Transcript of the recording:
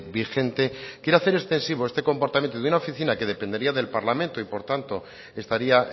vigente quiere hacer extensivo este comportamiento en una oficina que dependería del parlamento y por tanto estaría